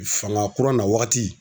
Fanga kura na wagati